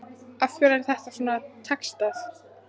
Af hverju er þetta ekki textað?